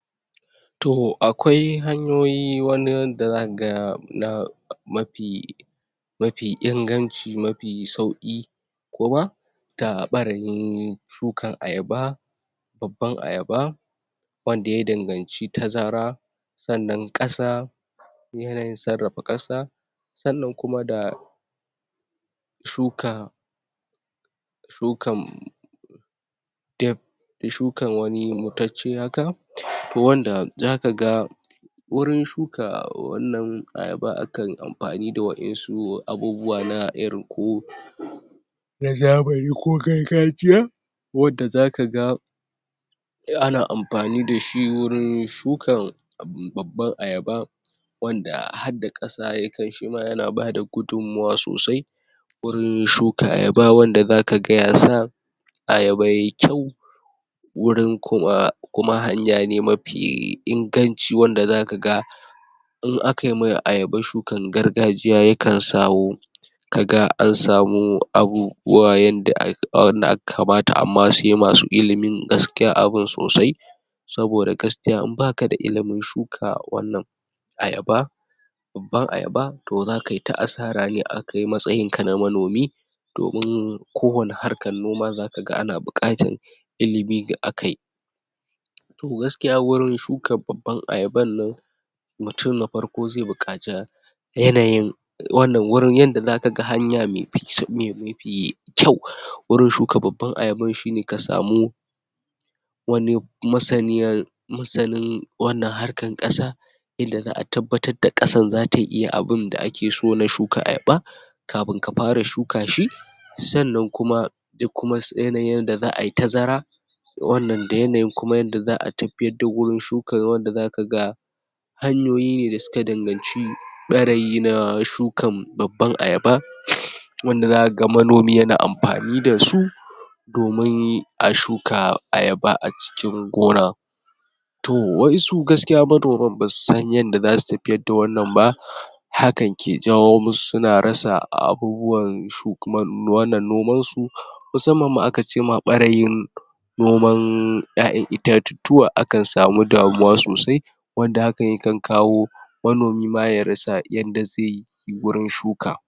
To, akwai hanyoyi wani da zakaga na mafi mafi inganci, mafi sauƙi kuma ta ɓarayin shukan ayaba babban ayaba wanda ya danganci tazara sannan ƙasa yanayin sarrafa ƙasa sannan kuma da shuka shukan shukan wani mutacce haka, to wanda zakaga wurin shuka wannan ayaba, akan amfani da waƴansu abubuwa na irin ko na zamani ko gargajiya wanda zakaga ana amfani dashi wurin shukan abu babban ayaba wanda hadda ƙasa yakan, shima yana bada gudunmawa sosai wurin shuka ayaba wanda zakaga yasa ayaba yai kyau wurin kuma, kuma hanya ne mafi inganci wanda zakaga in aka mai ayaba shukan gargajiya yakan sawo kaga an samu abubuwa yanda ya wannan a kamata amma sai masu ilimin abun sosai saboda gaskiya in baka da ilimin shuka wannan ayaba babban ayaba, to za kai ta asara ne, a kai matsayinka na manomi domin kowane harkan noma zakaga ana buƙatan ilimi ga akai to, gaskiya wurin shukan babban ayaban nan mutum na farko zai buƙaci yanayin wannan, wurin yanda zakaga hanya me fi mefi kyau, wurin shuka babban ayaban shine ka samu wani masaniyan, masanin wannan harkan ƙasa inda za'a tabbatar da ƙasan zata iya abinda ake so na shuka ayaba kafin ka fara shuka shi sannan kuma sai kuma yanayin yanda za ai tazara wannan, da yanayin kuma yanda za'a tafiyar da wurin shukan wanda zakaga hanyoyi ne da suka danganci ɓarayi na shukan babban ayaba um wanda zakaga manomi yana amfani dasu domin a shuka ayaba a cikin gona to waƴansu gaskiya manoman basu san yanda zasu tafiyar da wannan ba hakan ke jawo musu suna rasa abubuwan shuk um wannan noman su musamman ma aka cema ɓarayin noman ƴaƴan itatuttuwa, akan samu damuwa sosai wanda hakan yakan kawo manomi ma ya rasa yanda zaiyi wurin shuka.